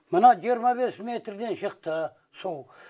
мына жиырма бес метрден шықты су